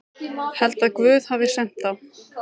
Held að Guð hafi sent þá.